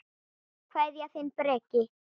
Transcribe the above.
Kveðja, þinn Breki.